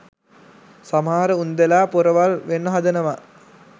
සමහර උන්දැලා පොරවල් වෙන්න හදනවා